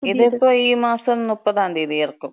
ഇതിപ്പോ ഈ മാസം മുപ്പതാം തീയതി എറക്കും.